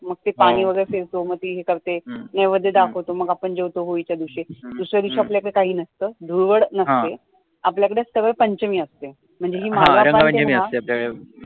मग ते पाणी फ़िरतो मग ती हे करते नैवेद्य दाखवतो मग आपण जेवतो होळीच्या दिवशी दुसर्या दिवशी आपल्या कडॆ काही नसतं धुळवड नसते आपल्या कडे सरळ पंचमी आहे म्हणजे